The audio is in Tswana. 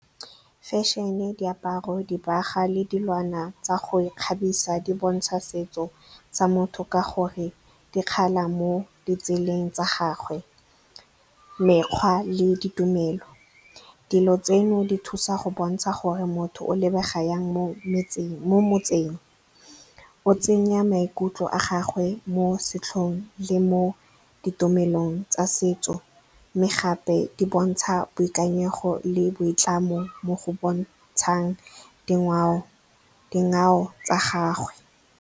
Fashion-e, diaparo, dibaga le dilwana tsa go ikgabisa di bontsha setso sa motho ka gonne di kgala mo ditseleng tsa gagwe. Mekgwa le ditumelo, dilo tseno di thusa go bontsha gore motho o lebega yang mo motseng, o tsenya maikutlo a gagwe mo setlhong le mo ditumelong tsa setso. Mme gape di bontsha boikanyego le boitlamo mo go bontshang dingwao tsa gagwe.